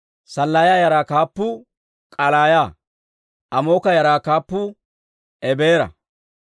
Sallaaya yaraa kaappuu K'aallaaya. Amooka yaraa kaappuu Ebeera.